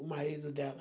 O marido dela.